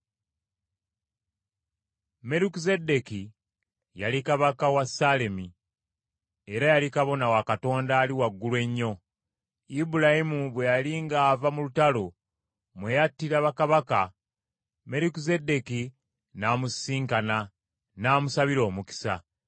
Merukizeddeeki yali kabaka w’e Ssaalemi, era yali kabona wa Katonda Ali Waggulu Ennyo. Ibulayimu bwe yali ng’ava mu lutalo mwe yattira bakabaka, Merukizeddeeki n’amusisinkana, n’amusabira omukisa.